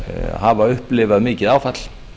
hafa upplifað mikið áfall